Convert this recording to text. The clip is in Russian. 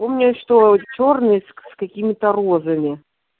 помню что чёрный с какими-то розами